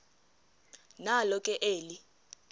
nalo ke eli